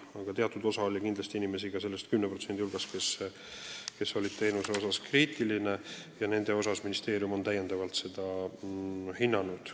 Aga teatud osa oli selle 10% hulgas ka inimesi, kes olid teenuse suhtes kriitilised, ja sellisel juhul on ministeerium seda abi täiendavalt hinnanud.